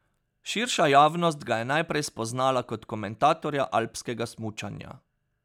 Širša javnost ga je najprej spoznala kot komentatorja alpskega smučanja.